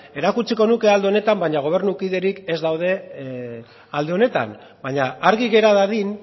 erakutsiko nuke alde honetan baina gobernukiderik ez daude alde honetan baina argi gera dadin